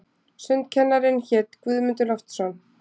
Sundkennarinn hét Guðmundur Loftsson.